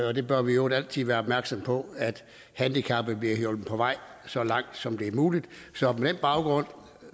og vi bør i øvrigt altid være opmærksomme på at handicappede bliver hjulpet på vej så langt som det er muligt så på den baggrund